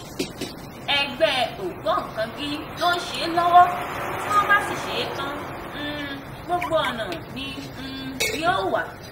ẹgbẹ́ ògbóǹkangí ló ń ṣe é lọ́wọ́ tí wọ́n bá sì ṣe é tán um gbogbo ọ̀nà ni um yóò wà.